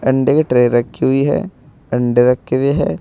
अंडे के ट्रे रखी हुई है अंडे रखे हुए हैं।